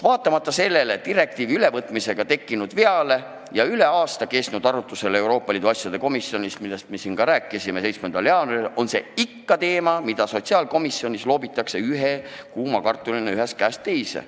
Vaatamata direktiivi ülevõtmisega tekkinud veale ja üle aasta kestnud arutlusele Euroopa Liidu asjade komisjonis, millest me siin ka rääkisime, on see ikka teema, mida sotsiaalkomisjonis loobitakse kuuma kartulina ühest käest teise.